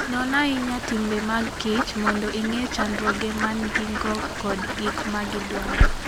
Non ahinya timbe mag kich mondo ing'e chandruoge ma gin-go kod gik ma gidwaro.